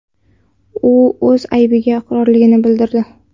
U o‘z aybiga iqrorligini bildirdi.